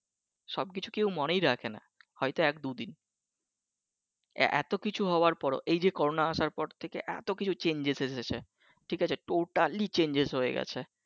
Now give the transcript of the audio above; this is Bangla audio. সব কিছু কেউ মনেই রাখে না হয়তো এক দুই দিন । এত কিছু হওয়ার পর ও এইযে করোনা আসার পর থেকে এতো কিছু changes হয়েছে ঠিক আছে totally changes হয়ে গেছে।